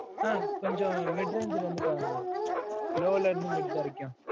, ஆஹ் கொஞ்சம், mid range ல வந்து, பாருங்கண்ணா. low ல இருந்து, mid வரைக்கும்